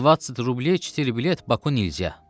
20 rublya 4 bilet Bakı nilzya.